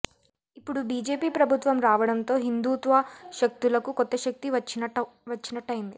ఇప్పుడు బిజెపి ప్రభుత్వం రావడంతో హిందూత్వ శక్తులకు కొత్త శక్తి వచ్చినట్టయింది